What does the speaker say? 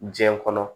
Diɲɛ kɔnɔ